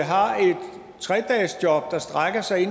har et tre dagesjob der strækker sig